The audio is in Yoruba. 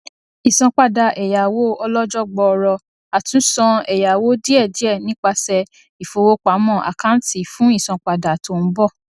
ìsanpadà ẹyáwó ọlọjọ gbọọrọ àtúsan ẹyáwó díẹdíẹ nipasẹ ìfowópamọ àkáǹtì fún ìsanpadà tó ń bọ